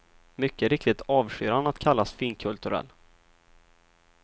Mycket riktigt avskyr han att kallas finkulturell.